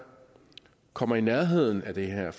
kommer i nærheden af det her